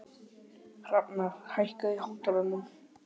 Hrafnar, hækkaðu í hátalaranum.